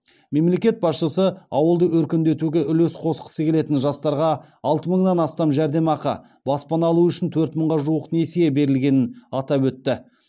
мемлекет басшысы ауылды өркендетуге үлес қосқысы келетін жастарға алты мыңнан астам жәрдемақы баспана алу үшін төрт мыңға жуық несие берілгенін атап өтті